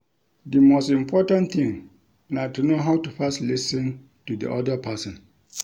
Di most important thing na to know how to first lis ten to di oda person